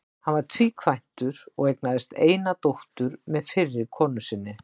Hann var tvíkvæntur og eignaðist eina dóttur með fyrri konu sinni.